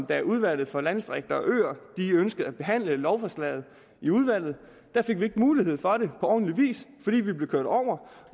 da udvalget for landdistrikter og øer ønskede at behandle lovforslaget i udvalget fik vi ikke mulighed for det på ordentlig vis fordi vi blev kørt over